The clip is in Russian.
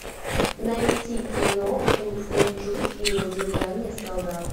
найти кино урфин джюс и его деревянные солдаты